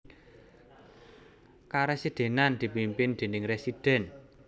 Karesidhenan dipimpin déning residen